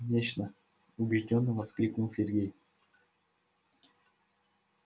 конечно убеждённо воскликнул сергей